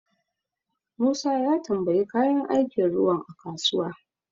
Musa ya tambayi kayan aikin ruwan a kasuwa.